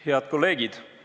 Head kolleegid!